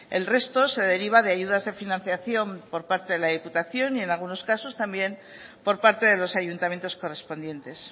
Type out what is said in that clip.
el resto se deriva de ayudas de financiación por parte de la diputación y en algunos casos también por parte de los ayuntamientos correspondientes